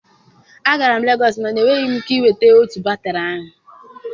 Agara m Legọs mana enweghị m ike ịnweta otu batrị ahụ.